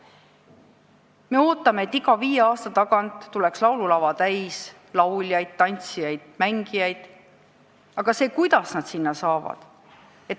Me ootame, et iga viie aasta tagant tuleks laululava täis lauljaid, et esinema tuleks tantsijaid ja mängijaid, aga kuidas nad sinna saavad?